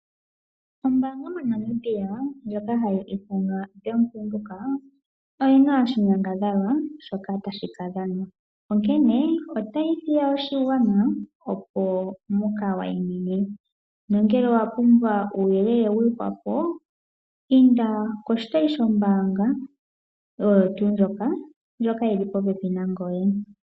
Ombaanga moNamibia ndjoka hayi ithanwa Bank Windhoek oyina oshinyongadhalwa shoka tashi ka dhanwa, onkene otayi hiya, opo muka wayi mine nongele owa pumbwa uuyelele wa gwedhwa po inda koshitayi shombaanga oyo tuu ndjoka, ndjoka yi li po pepi nangoye.